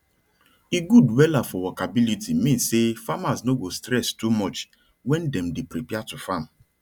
e good wella for workability mean say farmers no go stress too much wen dem dey prepare to farm